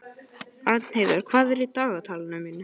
Arnheiður, hvað er í dagatalinu mínu í dag?